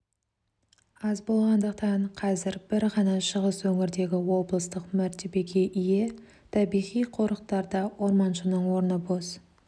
аз болғандықтан қазір бір ғана шығыс өңірдегі облыстық мәртебеге ие табиғи қорықтарда орманшының орны бос